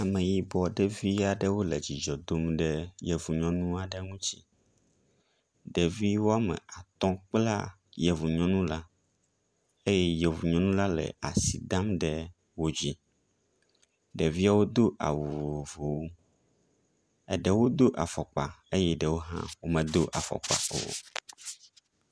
Ameyibɔ ɖevi aɖewo le dzidzɔ dom ɖe yevu nyɔnu aɖe ŋutsi. Ɖevi wɔme atɔ kpla yevu nyɔnu la eye yevu nyɔnu la le asi dam ɖe wo dzi. Ɖeviawo do awu vovovovwo. Eɖewo do afɔkpa eye ɖewo hã womedo afɔkpa o.